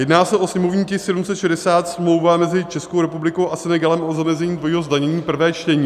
Jedná se o sněmovní tisk 760 - smlouva mezi Českou republikou a Senegalem o zamezení dvojího zdanění, prvé čtení.